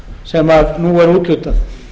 sem nú er úthlutað